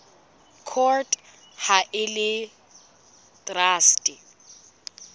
court ha e le traste